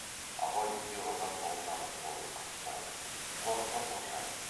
абай үйде қалған тоғжанның қолын қысып тұрып қорықпа тоғжан